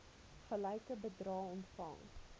gelyke bedrae ontvang